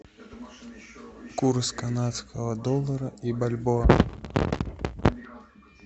курс канадского доллара и бальбоа